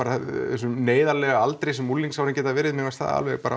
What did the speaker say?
þessum neyðarlega aldri sem unglingsárin geta verið mér fannst það alveg